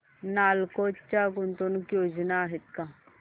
नालको च्या गुंतवणूक योजना आहेत का